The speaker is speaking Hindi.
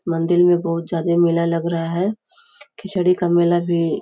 मंदिर में बहुत ज्यादा मेला लग रहा है खिचड़ी का मेला भी --